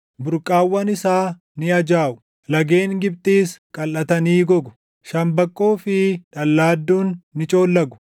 Burqaawwan isaa ni ajaaʼu; lageen Gibxiis qalʼatanii gogu. Shambaqqoo fi dhallaadduun ni coollagu;